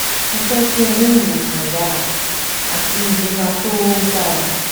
Mo fẹ ki o ni iwosan yara ati ilera to dara